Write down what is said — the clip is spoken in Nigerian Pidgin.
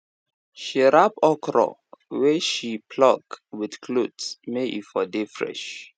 she wrap okra wey she wey she pluck with cloth may e for dey fresh